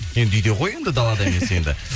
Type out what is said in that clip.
енді үйде ғой енді далада емес енді